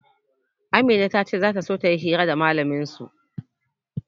Amina ta ce za ta so ta yi hira da mallamin su.